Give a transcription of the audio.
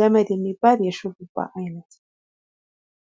ገመድ የሚባል የሹሩባ አይነት።